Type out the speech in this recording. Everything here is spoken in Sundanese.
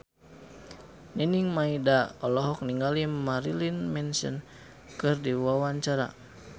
Nining Meida olohok ningali Marilyn Manson keur diwawancara